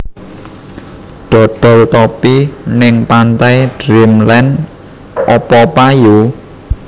Dodol topi ning Pantai Dreamland opo payu?